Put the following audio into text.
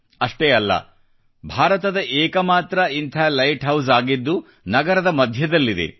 ಅಷ್ಟೇ ಅಲ್ಲ ಭಾರತದ ಏಕಮಾತ್ರ ಇಂಥ ಲೈಟ್ ಹೌಸ್ ಆಗಿದ್ದು ನಗರದ ಮಧ್ಯದಲ್ಲಿದೆ